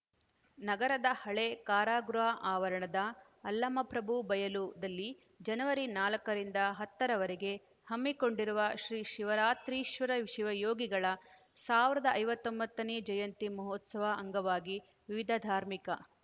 ನಗರದ ಹಳೆ ಕಾರಾಗೃಹ ಆವರಣ ಅಲ್ಲಮಪ್ರಭು ಬಯಲುದಲ್ಲಿ ಜನವರಿ ನಾಲ್ಕರಿಂದ ಹತ್ತರವರೆಗೆ ಹಮ್ಮಿಕೊಂಡಿರುವ ಶ್ರೀ ಶಿವರಾತ್ರೀಶ್ವರ ಶಿವ ಯೋಗಿಗಳ ಸಾವಿರದ ಐವತ್ತೊಂಬತ್ತನೇ ಜಯಂತಿ ಮಹೋತ್ಸವ ಅಂಗವಾಗಿ ವಿವಿಧ ಧಾರ್ಮಿಕ